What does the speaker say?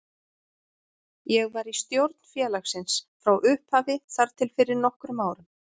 Ég var í stjórn félagsins frá upphafi þar til fyrir nokkrum árum.